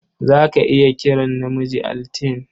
Za ka iya kiran namiji Altine.